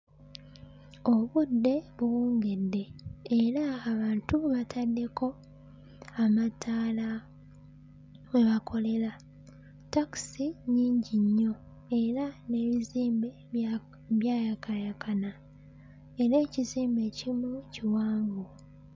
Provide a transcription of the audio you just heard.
Obudde buwungedde era abantu baataddeko amataala we bakolera takisi nnyingi nnyo era n'ebizimbe bya byayakaayakana era ekizimbe ekimu kiwanvu.